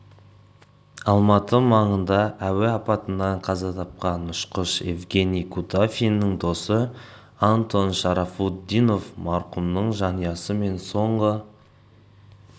алматы маңында әуе апатынан қаза тапқан ұшқыш евгений кутафиннің досы антон шарафутдинов марқұмның жанұясы мен соңғы